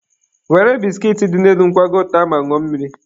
Were biskit dị n'elu nkwago taa ma ṅụọ mmiri.